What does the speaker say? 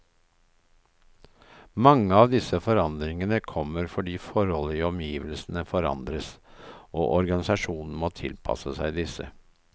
Mange av disse forandringene kommer fordi forhold i omgivelsene forandres, og organisasjonen må tilpasse seg disse.